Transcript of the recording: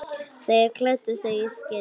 Þeir klæddu sig í skyndi.